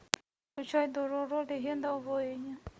включай дороро легенда о воине